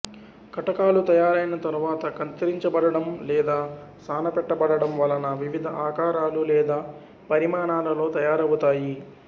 కటకాలు తయారైన తరువాత కత్తిరించబడటం లేదా సాన పెట్టబడటం వలన వివిధ ఆకారాలు లేదా పరిమాణాలలో తయారవుతాయి